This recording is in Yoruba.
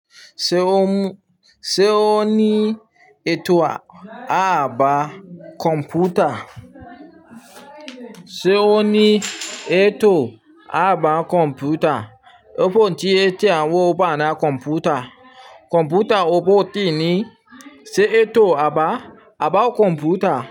Ṣé o ní ètò ààbò kọ̀ǹpútà? Ṣé o ní ètò àbá kọ̀ǹpútà? Ó pọn tí ẹ ti wọ̀ bà náà kọ̀ǹpútà. Kọ̀ǹpútà ó pọ̀ tí ní, ṣe ètò àbá, àbá kọ̀ǹpútà.